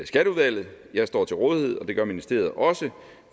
skatteudvalget jeg står til rådighed og det gør ministeriet også